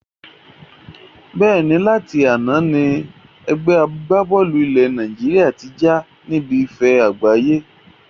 Bẹ́ẹ̀ni, láti àná ni ẹgbẹ́ agbá-bọ́ọ́lù ilé Nàìjíríà tí já níbi ife àgbáyé